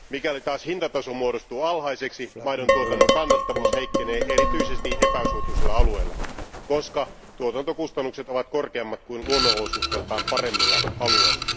Mikäli taas hintataso muodostuu alhaiseksi, maidon tuotannon kannattavuus heikkenee erityisesti epäsuotuisilla alueilla, koska tuotantokustannukset ovat korkeammat kuin luonnonolosuhteiltaan paremmilla alueilla.